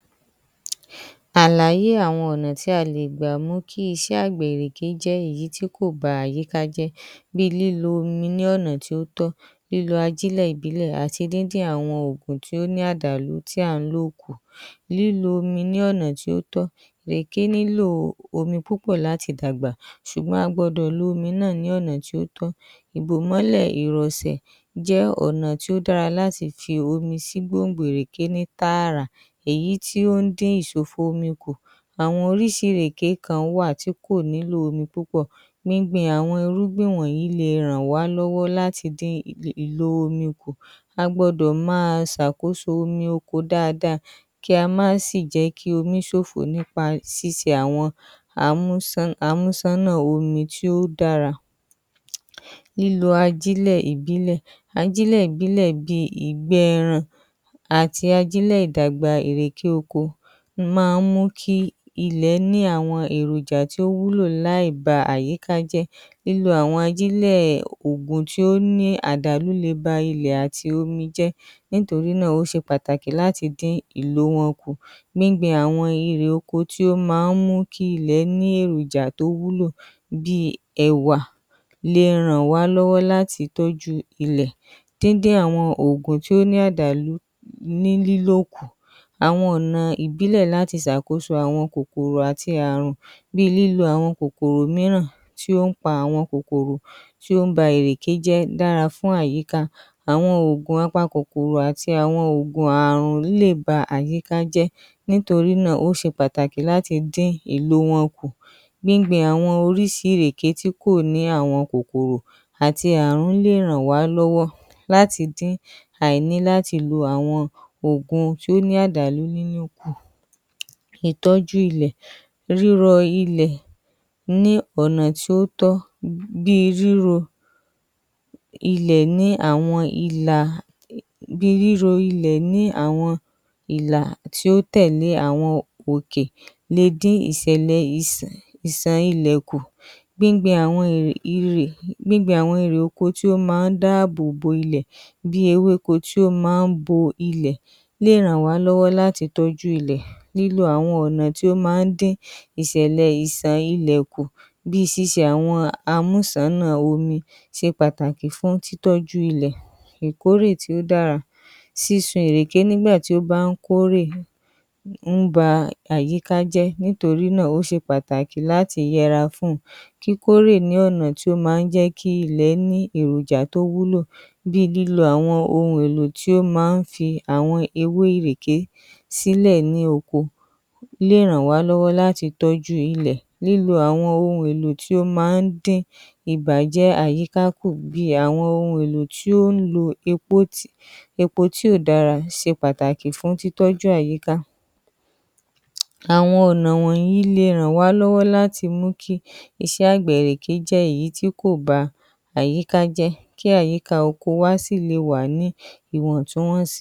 Alàyé àwọn ọ̀nà tí a le gbà mú kí iṣẹ́ àgbẹ̀ ìrèké jẹ́ èyí tí kò ba àyíká jẹ́ bíi lílo omi ní ọ̀nà tí ó tọ́, lílo ajílẹ̀ ìbílẹ̀ díndín àwọn òògùn tí ó ní àdàlù tí à ń lò kù, lílo omi ní ọ̀nà tó tọ́, ìrèké nílò omi púpọ̀ láti dàgbà ṣùgbọ́n a gbọ́dọ̀ lo omi náà ní ọ̀nà tó tọ́. Ìbòmọ́lẹ̀ ìròsẹ̀ jẹ́ ọ̀nà tí ó dára láti fi omi sí gbòǹgbò ìrèké ní tààrà, èyí tí ó ń dín ìsòfò omi kù, àwọn orísìí ìrèké kan wà tí kò nílò omi púpọ̀, gbíngbin àwọn irúgbìn wọ̀nyí le ràn wá lọ́wọ́ láti dín ìlò omi kù, a gbọdọ̀ máa ṣe àkóso omi oko dáadáa kí a má sì jẹ́ kí omi ṣòfò nípa ṣíṣe àwọn amúsànnà omi tí ó dára. Lílo ajílẹ̀ ìbílẹ̀, ajílẹ̀ ìbílẹ̀ bíi ìgbẹ́ ẹran àti ajílẹ̀ ìdàgbà ìre oko máa ń mú kí ilẹ̀ ní àwọn èròjà tí ó wúlò láì ba àyíká jẹ́, lílo àwọn ajílẹ̀ tó ní àdàlú le ba ilẹ̀ àti omi jẹ́ nítorí náà o se pataki láti dín àwọn ìlò wọn kù, nítorí náà irè oko tí ó máa ń mú kí ilẹ̀ ní èròjà tó wúlò bíi Ẹ̀wà le ràn wá lọ́wọ́ láti tọ́jú ilẹ̀, díndín àwọn òògùn tó ní àdàlú ní lílò kù, àwọn ọ̀nà ìbílẹ̀ láti ṣe àkóso àwọn kòkòrò àti ààrùn bíi lílo àwọn kòkòrò mìíràn tí ó ń pa àwọn kòkòrò tí ó ń báa ìrèké jẹ́ dára fún àyíká àwọn òògùn apakòkòrò àti àwọn òògùn ààrùn yìí lè ba àyíká jẹ́ nítorí náà ó ṣe pàtàkì láti dín ìlò wọn kù. Gbíngbin àwọn orísìí ìrèké tí kò ní àwọn kòkòrò àti àwọn Ààrùn lè ràn wá lọ́wọ́ láti dín àìní láti lọ àwọn òògùn tó ní àdàlù nínú kù. ‎Ìtọ́jú ilẹ̀: rírọ ilẹ̀ lọ́nà tí ó tọ́ bíi ríro ilẹ̀ ní àwọn ìlà tí ó tẹ̀lé àwọn òkè le dín àwọn ìṣẹ̀lẹ̀ ìṣàn ilẹ̀ kù gbíngbin àwọn irè oko ti ó máa ń dá àbò bo ilẹ̀ bíi ewéko tí ó máa ń bo ilẹ̀ lè ràn wá lọ́wọ́ láti tọ́jú ilẹ̀, lílo àwọn ọ̀nà tí ó máa ń dín ìṣẹ̀lẹ̀ ìṣàn ilẹ̀ kù bíi síṣe àwọn amúsànnà omi ṣe pàtàkì fún tí tọ́jú ilẹ̀, ìkórè tí ó dára, sísun ìrèké nígbà tí ó bá ń kórè ń ba àyíká jẹ́, nítorí náà, ó ṣe pàtàkì láti yẹra fún kíkórè ní ọ̀nà tí ó máa ń ní kí ilẹ̀ ní èròjà tí ó wúlò bíi lílọ àwọn ohun ohun èlò tí ó máa ń fi awọn ewé ìrèké sílẹ̀ ní oko lè ràn wá lọ́wọ́ láti tọ́jú ilẹ̀, lílo àwọn ohun èlò tí ó máa ń dín ìbàjẹ́ àyíká kù bíi àwọn ohun èlò tí ó ń lo epo ti kò dára ṣe pàtàkì fún tí tọ́jú àyíká. Àwọn ọ̀nà wọ̀nyí le ràn wá lọ́wọ́ láti mú kí àgbẹ̀ ìrèké jẹ́ èyí tí kò bá àyíká jẹ́, kí àyíká oko wa sì le wà ní ìwọ̀ntúnwọ̀nsì.